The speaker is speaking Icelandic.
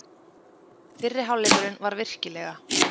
Fyrri hálfleikurinn var virkilega.